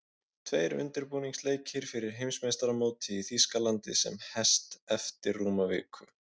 Tveir undirbúningsleikir fyrir Heimsmeistaramótið í Þýskalandi sem hest eftir rúma viku.